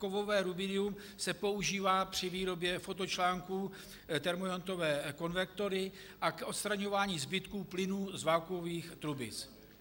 Kovové rubidium se používá při výrobě fotočlánků, termoiontové konvektory a k odstraňování zbytků plynů z vakuových trubic.